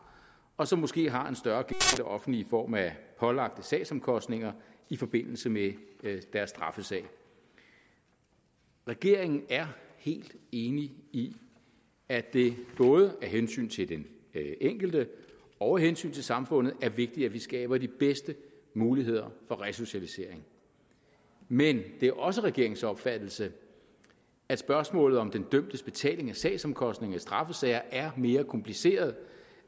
og som måske har en større gæld offentlige i form af pålagte sagsomkostninger i forbindelse med deres straffesag regeringen er helt enig i at det både af hensyn til den enkelte og af hensyn til samfundet er vigtigt at vi skaber de bedste muligheder for resocialisering men det er også regeringens opfattelse at spørgsmålet om den dømtes betaling af sagsomkostninger i straffesager er mere kompliceret